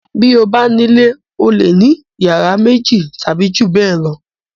Bí o bá nílé o le ní ìyàrá méjì tàbí ju bẹ́ẹ̀ lọ.